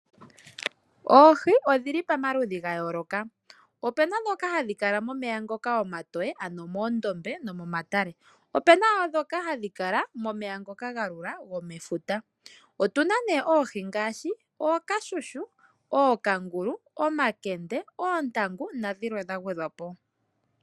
Oohi odhili pamaludhi gayooloka , opena dhoka hadhi kala momeya ngoka omatoye ,ano moondombe nomo matale opena dhoka hadhi kala momeya ngoka galula gomefuta. otuna nee oohi ngaashi ookashushu, ookangulu , omankende, oontangu nadhinwe dhagwe dhwapo.